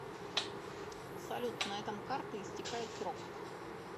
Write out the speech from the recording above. салют на этом карты истекает срок